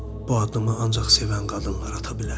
Bu addımı ancaq sevən qadınlar ata bilər.